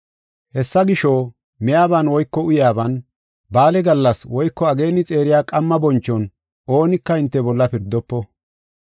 Hessa gisho, miyaban woyko uyaaban, ba7aale gallas woyko ageeni xeeriya qamma bonchon oonika hinte bolla pirdofo.